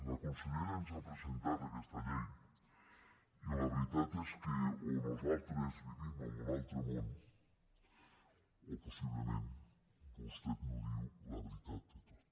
la consellera ens ha presentat aquesta llei i la veritat és que o nosaltres vivim en un altre món o possiblement vostè no diu la veritat de tot